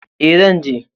E, zan je